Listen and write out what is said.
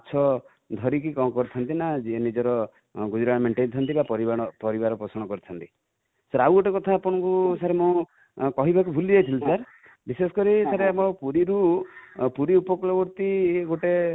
ମାଛ ଧରି କି କଣ କରି ଥାନ୍ତି ନା ନିଜର ଗୁଜୁରାଣ ମେଣ୍ଟେଇ ଥାନ୍ତି ବା ପରିବାର ପୋଷଣ କରିଥାନ୍ତି |ସାର sir ଗୋଟେ କଥା ଆପଣଙ୍କୁ ସାର ମୁଁ କହିବାକୁ ଭୁଲି ଯାଇଥିଲି ସାର ବିଶେଷକରି ସାର ଆମର ପୁରୀ ରୁ, ପୁରୀ ଉପକୂଳବର୍ତ୍ତୀ ଗୋଟେ